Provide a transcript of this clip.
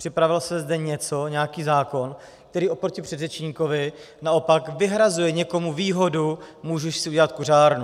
Připravilo se zde něco, nějaký zákon, který oproti předřečníkovi naopak vyhrazuje někomu výhodu, může si udělat kuřárnu.